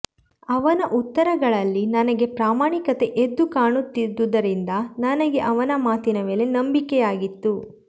ಅವನ ಉತ್ತರಗಳಲ್ಲಿ ನನಗೆ ಪ್ರಾಮಾಣಿಕತೆ ಎದ್ದು ಕಾಣುತ್ತಿದ್ದುದರಿಂದ ನನಗೆ ಅವನ ಮಾತಿನ ಮೇಲೆ ನಂಬಿಕೆಯಾಗಿತ್ತು